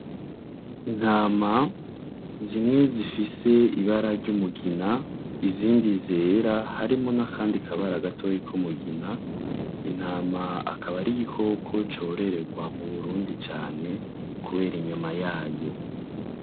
Intama zimwe zifise ibara ry'umugina, izindi zera harimwo n'akandi kabara gatoyi kumugina, intama akaba ari igikoko cororegwa mu Burundi cane kubera inyama yayo.